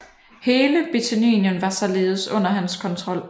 Hele Bithynien var således under hans kontrol